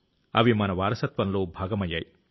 అవి మన వారసత్వంలో భాగమయ్యాయి